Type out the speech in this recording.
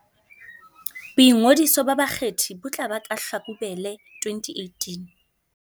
Boingodiso ba bakgethi bo tla ba ka Hlakubele 2018